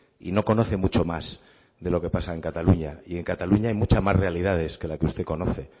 y no conoce mucho más de lo que pasa en cataluña y en cataluña hay muchas más realidades que la que usted conoce